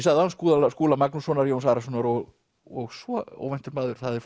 sagði áðan Skúla Skúla Magnússonar Jóns Arasonar og og svo óvæntur maður það er